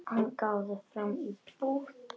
Hann gáði fram í búð.